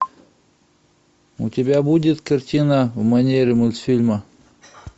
у тебя будет картина в манере мультфильма